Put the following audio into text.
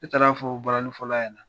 E taara fɔ balaninfɔla ɲɛna.